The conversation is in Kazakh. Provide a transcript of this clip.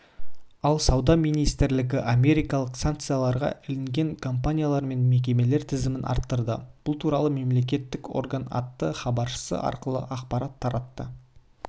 ал сауда министрлігі америкалық санкцияларға іліккен компаниялар мен мекемелер тізімін арттырды бұл туралы мемлекеттік орган атты хабаршысы арқылы ақпарат таратты